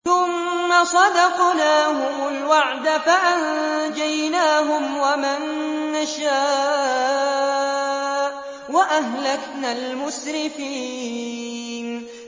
ثُمَّ صَدَقْنَاهُمُ الْوَعْدَ فَأَنجَيْنَاهُمْ وَمَن نَّشَاءُ وَأَهْلَكْنَا الْمُسْرِفِينَ